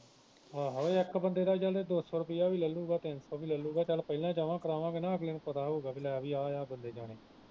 ਆਹੋ ਇਕ ਬੰਦੇ ਦਾ ਚੱਲ ਦੋ ਸੌ ਰੁਪਿਆਂ ਵੀ ਲੂਗਾ ਤਿੰਨ ਸੌ ਵੀ ਲਲੂਗਾ ਚੱਲ ਪਹਿਲੋਂ ਜਮਾ ਕਰਾਵਾਂਗੇ ਨਾ ਅਗਲੇ ਨੂੰ ਪਤਾ ਹਉਗਾ ਕਿ ਲੈ ਬਈ ਐ ਐ ਬੰਦੇ ਜਾਣੇ ਜੇ